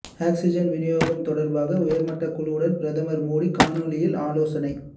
oxygen விநியோகம் தொடர்பாக உயர்மட்டக் குழுவுடன் பிரதமர் மோடி காணொலியில் ஆலோசனை